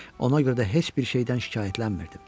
Ona görə də heç bir şeydən şikayətlənmirdim.